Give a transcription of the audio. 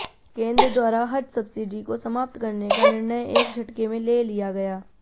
केंद्र द्वारा हज सब्सिडी को समाप्त करने का निर्णय एक झटके में ले लिया गया